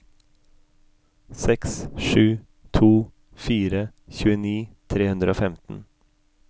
seks sju to fire tjueni tre hundre og femten